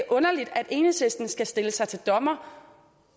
underligt at enhedslisten skal stille sig til dommer